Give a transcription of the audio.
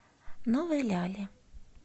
новой ляли